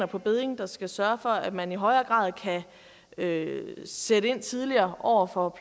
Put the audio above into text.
på bedding der skal sørge for at man i højere grad kan sætte ind tidligere over for